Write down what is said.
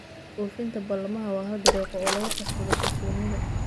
Oofinta ballamaha waa hal dariiqo oo lagu kasbado kalsoonida.